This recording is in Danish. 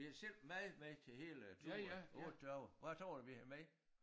Vi havde selv mad med til hele øh turen 8 dage hvad tror du vi havde med?